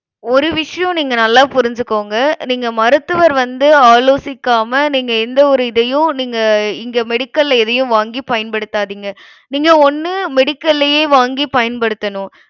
ஒரு விஷயம், நீங்க நல்லா புரிஞ்சுக்கோங்க. நீங்க மருத்துவர் வந்து ஆலோசிக்காம நீங்க எந்த ஒரு இதையும் நீங்க இங்க medical ல எதையும் வாங்கி பயன்படுத்தாதீங்க. நீங்க ஒண்ணு medical லயே வாங்கி பயன்படுத்தணும்.